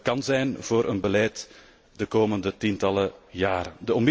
kan zijn voor het beleid de komende tientallen jaren.